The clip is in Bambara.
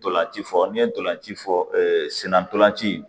Ntolanci fɔ n ye ntolanci fɔ senna ntolan ci in